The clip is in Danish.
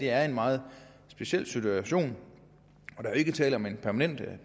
er en meget speciel situation og ikke tale om en permanent